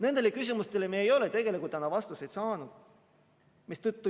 Nendele küsimustele me ei ole tegelikult täna vastuseid saanud.